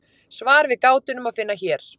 Svar við gátunni má finna hér.